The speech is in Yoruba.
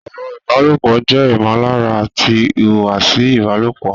Ọ̀rọ̀ ìbálòpọ̀ jẹ́ ìmọ̀lára àti ìhùwàsí ìbálòpọ̀